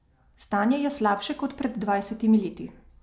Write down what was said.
Stanje je slabše kot pred dvajsetimi leti.